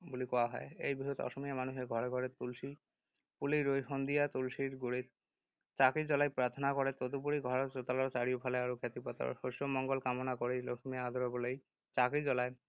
বুলিও কোৱা হয়। এই বিহুত অসমীয়া মানুহে ঘৰে ঘৰে তুলসী পুলি ৰুই সন্ধিয়া তুলসীৰ গুৰিত চাকি জ্বলাই প্ৰাৰ্থনা কৰে। তদুপৰি, ঘৰৰ চোতালৰ চাৰিওফালে আৰু খেতিপথাৰত শস্যৰ মংগল কামনা কৰি লখিমী আদৰিবলৈ চাকি জ্বলায়।